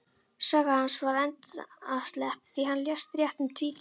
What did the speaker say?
Saga hans var endaslepp, því hann lést rétt um tvítugt.